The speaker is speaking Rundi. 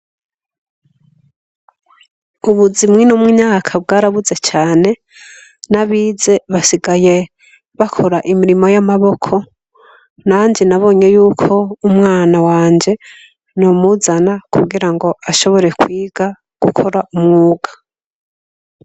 Ubuzi mw'ino myaka bwarabuze cane n'abize basigaye bakora imirimo y'amaboko. Nanje nabonye y'uko umwana wanje nomuzana kugira ngo ashobore kwiga gukora umwuga.